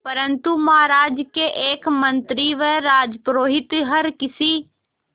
परंतु महाराज के एक मंत्री व राजपुरोहित हर किसी